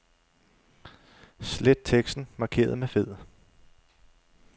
Slet teksten markeret med fed.